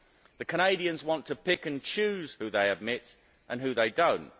The Canadians want to pick and choose who they admit and who they do not.